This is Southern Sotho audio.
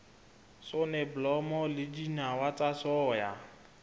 soneblomo le dinawa tsa soya